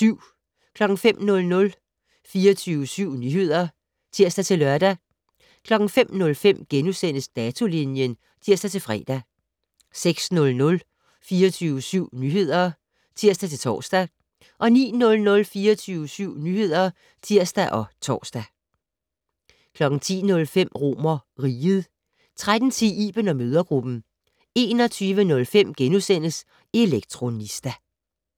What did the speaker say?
05:00: 24syv Nyheder (tir-lør) 05:05: Datolinjen *(tir-fre) 06:00: 24syv Nyheder (tir-tor) 09:00: 24syv Nyheder (tir og tor) 10:05: RomerRiget 13:10: Iben & mødregruppen 21:05: Elektronista *